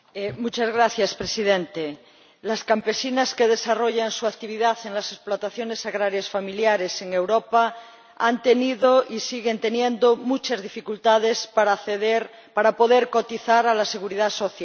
Señor Presidente, las campesinas que desarrollan su actividad en las explotaciones agrarias familiares en Europa han tenido y siguen teniendo muchas dificultades para acceder, para poder cotizar a la seguridad social.